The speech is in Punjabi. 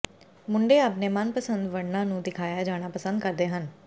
ਮੁੰਡੇ ਆਪਣੇ ਮਨਪਸੰਦ ਵਰਣਾਂ ਨੂੰ ਦਿਖਾਇਆ ਜਾਣਾ ਪਸੰਦ ਕਰਦੇ ਹਨ